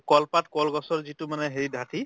কলপাত কলগছৰ যিটো মানে হেৰি